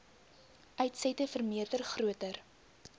uitsette vermeerder groter